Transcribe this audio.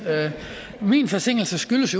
min forsinkelse skyldes